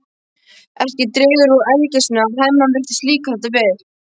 Ekki dregur úr ergelsinu að Hemma virðist líka þetta vel.